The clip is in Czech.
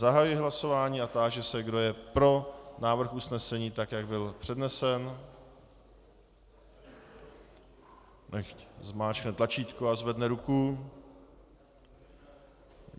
Zahajuji hlasování a táži se, kdo je pro návrh usnesení tak, jak byl přednesen, nechť stiskne tlačítko a zvedne ruku.